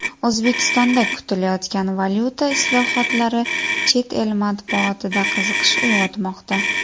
O‘zbekistonda kutilayotgan valyuta islohotlari chet el matbuotida qiziqish uyg‘otmoqda.